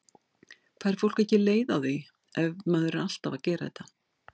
Fær fólk ekki leið á því ef maður er alltaf að gera þetta?